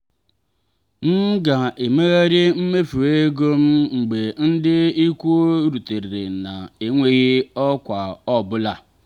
m ga-emegharị mmefu ego m mgbe ndị ikwu rutere na-enweghị ọkwa ọ bụla.